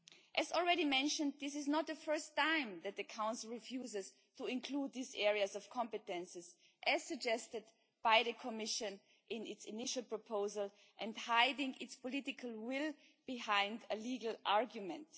As already mentioned, this is not the first time that the Council has refused to include these areas of competence as suggested by the Commission in its initial proposal hiding its political will behind a legal argument.